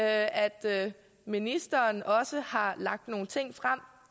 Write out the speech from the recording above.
at ministeren også har lagt nogle ting frem